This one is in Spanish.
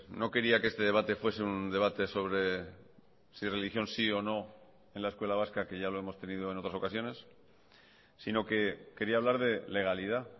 no quería que este debate fuese un debate sobre si religión sí o no en la escuela vasca que ya lo hemos tenido en otras ocasiones sino que quería hablar de legalidad